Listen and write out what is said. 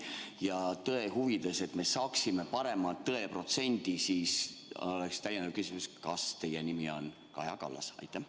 Ja tõe huvides, selleks et me saaksime parema tõeprotsendi, on mul ka lisaküsimus: kas teie nimi on Kaja Kallas?